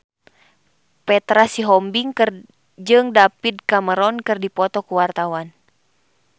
Petra Sihombing jeung David Cameron keur dipoto ku wartawan